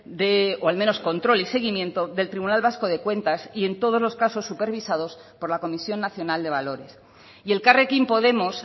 de o al menos control y seguimiento del tribunal vasco de cuentas y en todos los casos supervisados por la comisión nacional de valores y elkarrekin podemos